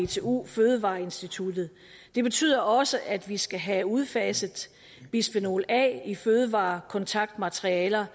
dtu fødevareinstituttet det betyder også at vi skal have udfaset bisfenol a i fødevarekontaktmaterialer